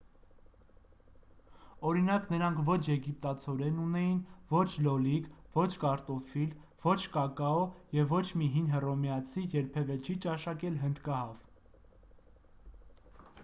օրինակ նրանք ոչ եգիպտացորեն ունեին ոչ լոլիկ ոչ կարտոֆիլ ոչ կակաո և ոչ մի հին հռոմեացի երբևէ չի ճաշակել հնդկահավ